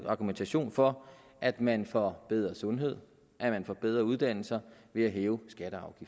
argumentation for at man får bedre sundhed at man får bedre uddannelser ved at hæve skatter og